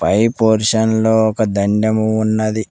పై portion లో ఒక దండం ఉన్నది.